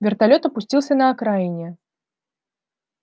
вертолёт опустился на окраине